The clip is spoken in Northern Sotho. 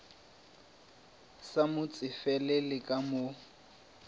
sa mo tsefele ka mo